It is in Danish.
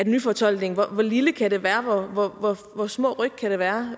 nyfortolkningen hvor lille kan den være hvor små ryk kan det være